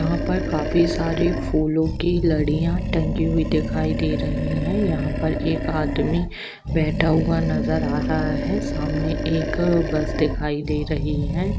यहां पर काफी सारी फूलों की लड़िया टंगी हुई दिखाई दे रही है यहां पर एक आदमी बैठा हुआ नजर आ रहा है सामने एक बस दिखाई दे रही है।